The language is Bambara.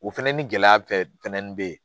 O fɛnɛ ni gɛlɛya fɛ nin be yen